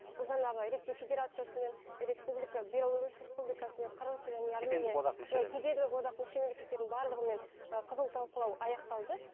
бұл жаңағы ресей федерациясымен республика беларусь республикасымен қырғыз және иә кедендік одақ мүше мемлекеттердің барлығымен ы қызу талқылау аяқталды